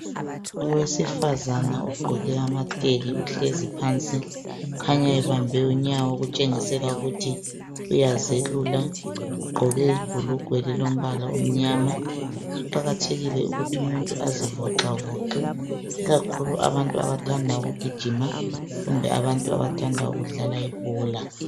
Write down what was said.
Owesifazana ogqoke amatheki, uhlezi phansi ukhanya ebambe unyawo kutshengisela ukuthi uyazelula. Ugqoke ibhulugwe elilombala omnyama. Kuqakathekile ukuthi umuntu azivoxavoxe, ikakhulu abantu abathanda ukugijima kumbe abantu abathanda ukudlala ibhola.